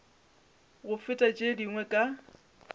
go feta tše dingwe ka